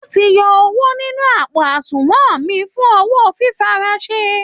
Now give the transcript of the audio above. Wọ́n ti yọ owó nínú àpò àṣùnwọ̀n mi fún owó fífiránṣẹ́